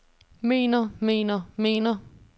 mener mener mener